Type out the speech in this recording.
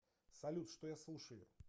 салют что я слушаю